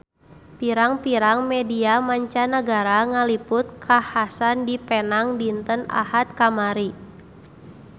Pirang-pirang media mancanagara ngaliput kakhasan di Penang dinten Ahad kamari